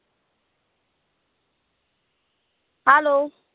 hello